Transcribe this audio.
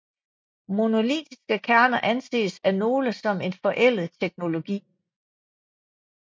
Monolitiske kerner anses af nogle som en forældet teknologi